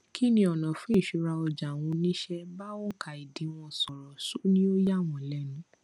kíni ọnà fún ìṣura ọjà àwọn oníṣẹ bá oùnkà ìdíwọn sọrọ ṣọ ní ó yà wọn lẹnu